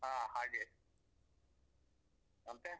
ಹಾ ಹಾಗೆ, ಮತ್ತೆ?